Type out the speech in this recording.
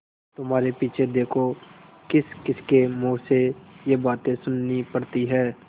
तुम्हारे पीछे देखो किसकिसके मुँह से ये बातें सुननी पड़ती हैं